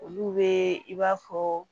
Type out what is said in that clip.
Olu be i b'a fɔ